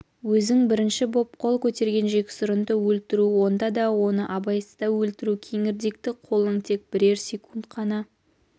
өзің бірінші боп қол көтерген жексұрынды өлтіру онда да оны абайсызда өлтіру кеңірдекті қолың тек бірер секунд қана